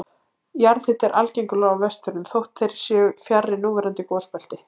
Jarðhiti er algengur á Vestfjörðum þótt þeir séu fjarri núverandi gosbelti.